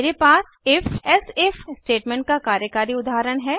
मेरे पास if elsif statement का कार्यकारी उदाहरण है